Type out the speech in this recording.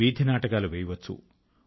వీధి నాటకాలు వేయవచ్చు